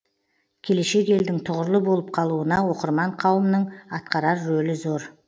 келешек елдің тұғырлы болып қалуына оқырман қауымның атқарар рөлі зор